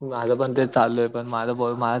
माझं पण तेच चालुये माझं माझं